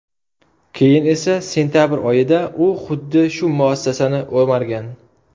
Keyin esa sentabr oyida u xuddi shu muassasani o‘margan.